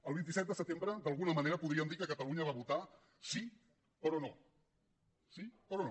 el vint set de setembre d’alguna manera podríem dir que catalunya va votar sí però no sí però no